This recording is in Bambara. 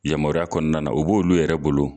Yamaruya kɔnɔna na o b'olu yɛrɛ bolo